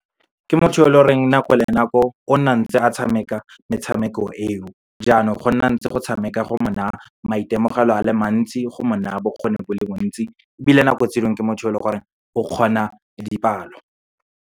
Ke motho yo leng gore nako le nako, o nna ntse a tshameka metshameko eo. Jaanong, go nna ntse go tshameka, go mo na maitemogelo a le mantsi, go mo na bokgoni bo le bontsi, ebile nako tse dingwe, ke motho yo e leng gore o kgona dipalo.